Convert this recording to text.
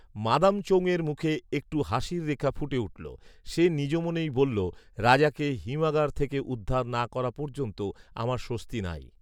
মাদামচৌং এর মুখে একটু হাসির রেখা ফুটে উঠলো; সে নিজ মনেই বললো রাজাকে হিমাগার থেকে উদ্ধার না করা পর্যন্ত আমার স্বস্তি নাই